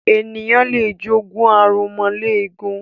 Ènìyàn lé jogún aromọléegun.